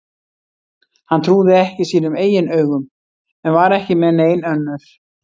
Hann trúði ekki sínum eigin augum en var ekki með nein önnur.